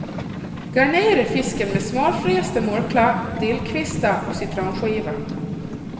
Garnera fisken med smörfrästa murklor, dillkvistar och citronskivor.